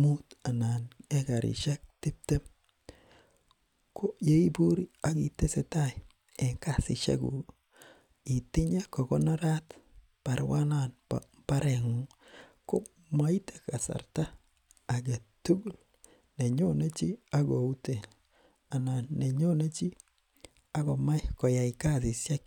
mut anani ekarishek tiptem koyeiburi akitesetai en kasishekuki itinye kokonorat baruanan bo mbarengungi komoiten kasarta agetugul nenyone chi akouten anan nenyone chi akomach koyai kasishek